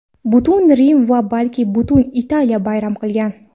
Butun Rim va balki butun Italiya bayram qilgan.